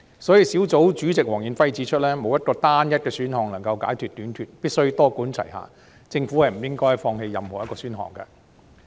所以，專責小組主席黃遠輝指出，沒有單一選項能夠解決土地短缺問題，政府必須多管齊下，不應該放棄任何一個選項。